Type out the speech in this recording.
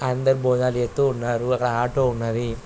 అందరూ భోజనాలు చేస్తూ ఉన్నారు. అక్కడ ఆటో ఉన్నది.